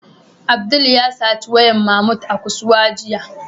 Abdul ya sata wayar Mahmud a kusuwa jiya.